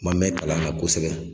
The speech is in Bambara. Ma mɛ kalan na kosɛbɛ